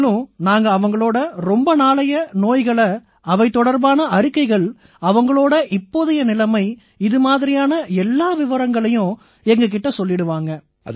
மேலும் அவங்களோட ரொம்ப நாளைய நோய்கள் அவை தொடர்பான அறிக்கைகள் அவங்களோட இப்போதைய நிலைமை இது மாதிரியான எல்லா விவரங்களையும் எங்க கிட்ட அவங்க சொல்லிடுவாங்க